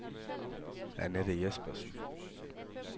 Anette Jespersen